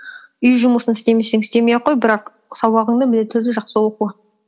үй жұмысын істемесең істемей ақ қой бірақ сабағыңды міндетті түрде жақсы оқы